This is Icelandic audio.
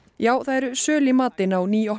já það eru söl í matinn á